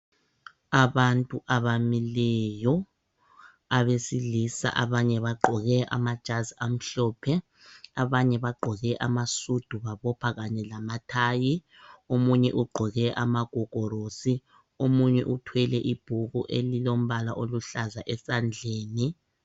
Abantu abamileyo abesilisa abanye bagqoke amajazi amhlophe, abanye bagqoke amasudu babopha kanye lamathayi. Omunye ugqoke amagogorosi ,omunye uthwele ibhuku elilombala oluhlaza esandleni.